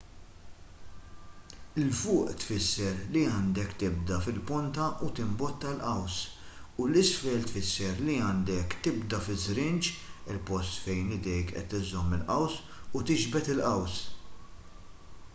'l fuq tfisser li għandek tibda fil-ponta u timbotta l-qaws u 'l isfel tfisser li għandek tibda fiż-żrinġ il-post fejn idek qed iżżomm il-qaws u tiġbed il-qaws